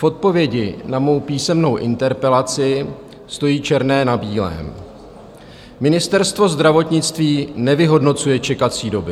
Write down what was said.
V odpovědi na mou písemnou interpelaci stojí černé na bílém: "Ministerstvo zdravotnictví nevyhodnocuje čekací doby.